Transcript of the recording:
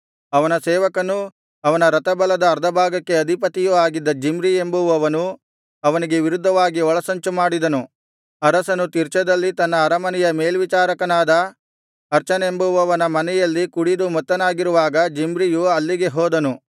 ಅವನ ಸೇವಕನೂ ಅವನ ರಥಬಲದ ಅರ್ಧಭಾಗಕ್ಕೆ ಅಧಿಪತಿಯೂ ಆಗಿದ್ದ ಜಿಮ್ರಿ ಎಂಬುವವನು ಅವನಿಗೆ ವಿರುದ್ಧವಾಗಿ ಒಳಸಂಚು ಮಾಡಿದನು ಅರಸನು ತಿರ್ಚದಲ್ಲಿ ತನ್ನ ಅರಮನೆಯ ಮೇಲ್ವಿಚಾರಕನಾದ ಅರ್ಚನೆಂಬುವವನ ಮನೆಯಲ್ಲಿ ಕುಡಿದು ಮತ್ತನಾಗಿರುವಾಗ ಜಿಮ್ರಿಯು ಅಲ್ಲಿಗೆ ಹೋದನು